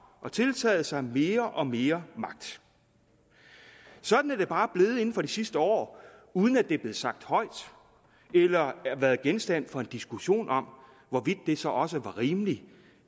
og tiltaget sig mere og mere magt sådan er det bare blevet inden for de sidste år uden at det er blevet sagt højt eller har været genstand for en diskussion om hvorvidt det så også var rimeligt